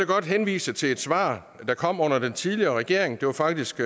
godt henvise til et svar der kom under den tidligere regering det var faktisk